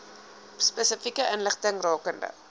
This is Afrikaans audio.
spesifieke inligting rakende